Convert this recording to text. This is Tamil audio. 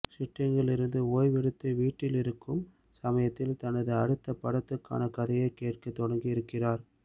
ஷூட்டிங்கிலிருந்து ஓய்வெடுத்து வீட்டிலிருக்கும் சமயத்தில் தனது அடுத்த படத்துக்கான கதையைக் கேட்கத் தொடங்கியிருக்கிறார்